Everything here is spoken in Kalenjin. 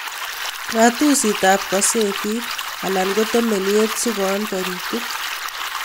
"Rat usitab kazetit alan ko temeniet sikoon toritik